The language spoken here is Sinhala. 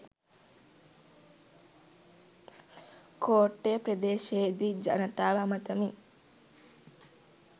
කෝට්ටේ ප්‍රදේශයේදී ජනතාව අමතමින්